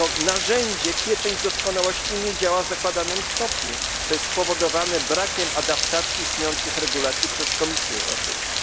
Narzędzie pieczęć doskonałości nie działa w zakładanym stopniu, co jest spowodowane brakiem adaptacji istniejących regulacji przez Komisję Europejską.